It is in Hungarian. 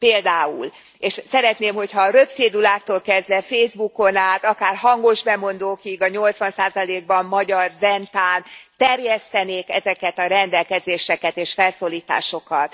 Például, és szeretném, hogyha röpcéduláktól kezdve, Facebookon át, akár hangosbemondókig, a nyolcvan százalékban magyar Zentán terjesztenék ezeket a rendelkezéseket és felszólításokat.